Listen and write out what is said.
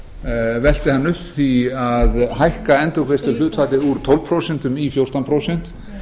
velti hann upp því að hækka endurgreiðsluhlutfallið úr tólf prósent í fjórtán prósent